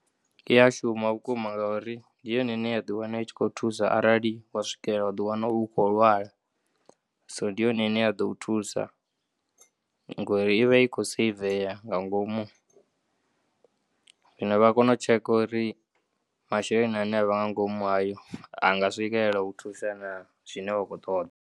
Iya shuma vhukuma ngauri ndi yone ine ya ḓiwana itshi khou thusa arali wa swikela wa ḓiwana u tshi khou lwala, so ndi yone ine yaḓo u thusa ngori ivha i khou saiveya nga ngomu. Zwino vha ya kona u tsheka uri masheleni ane avha ngangomu hayo anga swikelela uthusa nah zwine wa kho ṱoḓa.